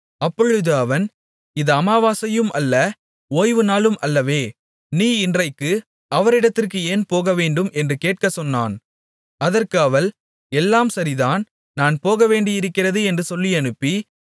அப்பொழுது அவன் இது அமாவாசையும் அல்ல ஓய்வு நாளும் அல்லவே நீ இன்றைக்கு அவரிடத்திற்கு ஏன் போகவேண்டும் என்று கேட்கச் சொன்னான் அதற்கு அவள் எல்லாம் சரிதான் நான் போகவேண்டியிருக்கிறது என்று சொல்லியனுப்பி